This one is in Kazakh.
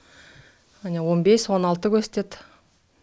міне он бес он алты көрсетеді